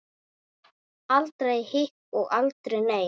Aldrei hik og aldrei nei.